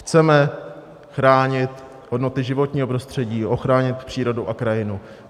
Chceme chránit hodnoty životního prostředí, ochránit přírodu a krajinu.